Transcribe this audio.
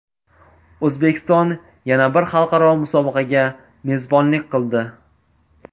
O‘zbekiston yana bir xalqaro musobaqaga mezbonlik qildi.